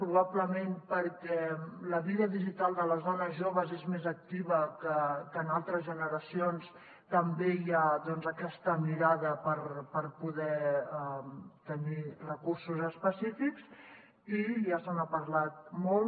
probablement perquè la vida digital de les dones joves és més activa que en altres generacions també hi ha aquesta mirada per poder tenir recursos específics i ja se n’ha parlat molt